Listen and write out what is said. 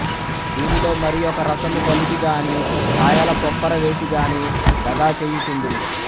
దీనిలో మరియొక రసము గలిపి గాని కాయల పొప్పర వేసి గాని దగాచేయు చుందురు